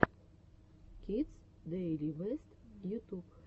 кидс дэйли бэст ютуб